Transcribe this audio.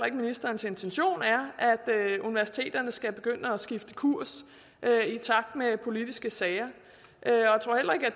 ikke ministerens intention er at universiteterne skal begynde at skifte kurs i takt med politiske sager